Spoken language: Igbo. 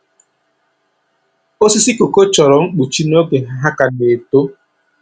Osisi kooko chọrọ mkpuchi n’oge ha ka na-eto.